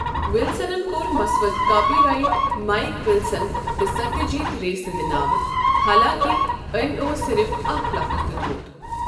ولسننكور مسودٕ copyright Mike Wilson تہٕ Satyajit Ray سٕنٛد ناوٕ ، حالانٛکہ أمۍ اوس صرف اکھ لفٕظ دیتمت۔